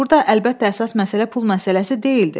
Burda əlbəttə əsas məsələ pul məsələsi deyildi.